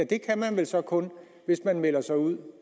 kan man vel så kun hvis man melder sig ud